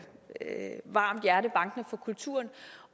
varmt hjerte bankende for kulturen